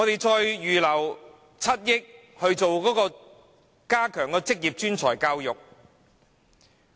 政府預留7億元加強職業專才教育。